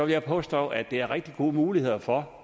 jeg påstå at der er rigtig gode muligheder for